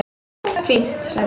Fínt, sagði Björn.